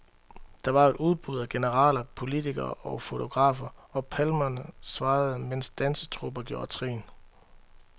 Der var et opbud af generaler, politikere og fotografer, og palmer svajede, mens dansetrupper gjorde trin.